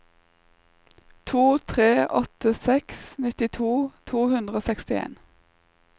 to tre åtte seks nittito to hundre og sekstien